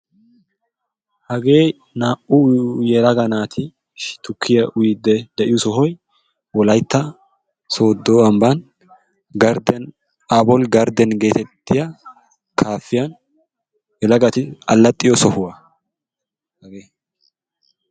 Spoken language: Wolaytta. Hagee naa'u yelaga naati tukkiya uyiidi de'iyo sohoy wolaytta soodo amban aabol gardden geetettioya kaafiyan yelagatti alaxxiyo sohuwa hagee.